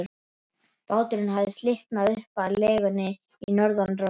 Báturinn hafði slitnað upp af legunni í norðanroki.